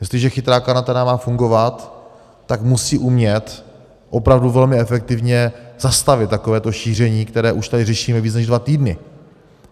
Jestliže chytrá karanténa má fungovat, tak musí umět opravdu velmi efektivně zastavit takovéto šíření, které už tady řešíme více než dva týdny.